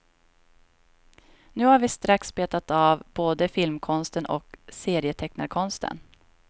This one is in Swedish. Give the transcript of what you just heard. Nu har vi strax betat av både filmkonsten och serietecknarkonsten.